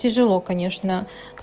тяжело конечно